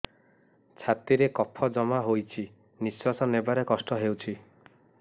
ଛାତିରେ କଫ ଜମା ହୋଇଛି ନିଶ୍ୱାସ ନେବାରେ କଷ୍ଟ ହେଉଛି